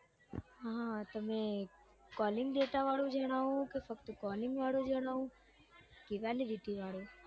હા તમે calling data વાળું જાણવું કે ફક્ત calling વાળું જાણવું કે validity વાળું